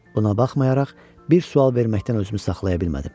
Buna baxmayaraq bir sual verməkdən özümü saxlaya bilmədim.